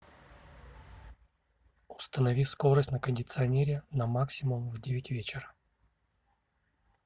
установи скорость на кондиционере на максимум в девять вечера